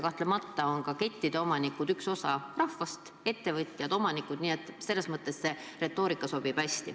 Kahtlemata on ka kettide omanikud üks osa rahvast – ettevõtjad, omanikud –, nii et selles mõttes see retoorika sobib.